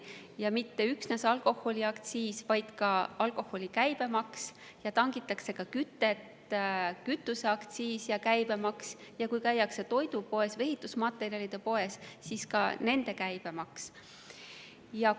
Ja mitte üksnes alkoholiaktsiisi, vaid ka alkoholi käibemaks, tangitakse ka kütust, nii et samuti kütuseaktsiis ja käibemaks, ja kui käiakse toidupoes või ehitusmaterjalide poes, siis ka nende käibemaks.